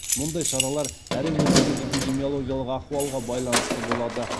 мұндай шаралар әр өңірдегі эпидемиологиялық ахуалға байланысты болады